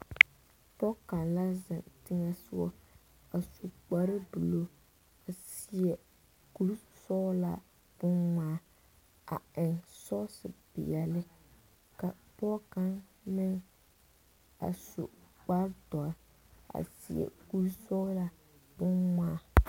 Pɔge kaŋ la zeŋ teŋa sɔga a su kpare buluu a seɛ kur sɔglaa bon ŋmaa a eŋ sɔgse peɛle ka pɔge kaŋa meŋ a su kpare dɔre a seɛ kur sɔglaa bonŋmaa.